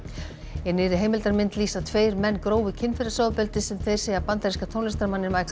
í nýrri heimildarmynd lýsa tveir menn grófu kynferðisofbeldi sem þeir segja bandaríska tónlistarmanninn